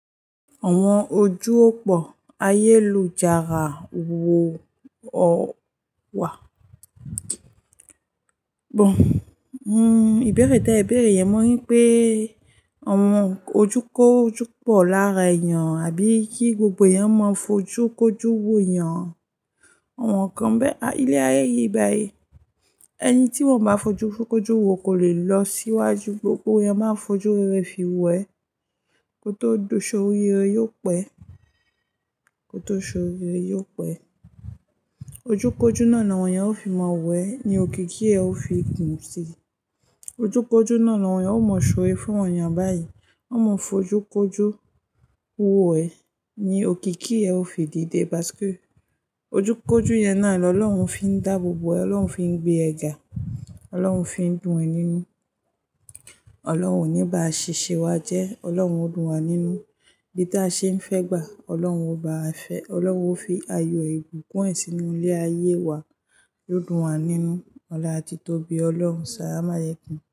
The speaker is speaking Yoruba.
Àwọn ojú ọ̀pọ̀ ayélujára wo ọ̀ wá. Bon, ibẹ̀reẹ̀ tẹ ìbeẹ̀rẹ̀ yẹn mọ ní pé àwọn ojú kò ojú pọ̀ lára èèyàn àbí kí gbogbo èèyàn máa fojú kojú wo èèyàn. Àwọn kan bẹ́ ìlé ayé yìí báyìí. Ẹni tí wọn bá fojú kojú wo kò lè lọ síwájú. Gbogbo èèyàn máa fojú rere fi fo ẹ̀ kó tó dùn. Ṣòri ree yóò pẹ́. Kó tó ṣòwò rere yóò pẹ́. Ojú kojú náà ni àwọn èèyàn ó fi mọ̀ wone ní òkìkí rẹ̀ ó fi gun sí. Ojú kojú náà ni àwọn èèyàn ó mọ̀ ṣòwò fún àwọn èèyàn báyìí. Wọ́n mọ fojú kojú wo ẹ ní òkìkí ẹ ó fi dìde. Parce que ojú kojú yẹn náà lọ́lọ́rùn fi ń dá gbogbo ẹ. Ọlọ́run fi ń gbé ẹ̀gà. Ọlọ́run fi ń dùn e nínú. Ọlọ́run ò ní bá ṣiṣẹ́ wa jẹ́. Ọlọ́run ó dùn wá nínú bí táa ṣe ń fẹ́ gbà. Ọlọ́run ó bá a fẹ́. Ọlọ́run ó fi ayọ̀ ibukun ẹ̀ sìn inú ilé ayé wa. Ó dùn wá nínú. Ọlá àti tóbi, Ọlọ́run, sára malẹ̀kùn.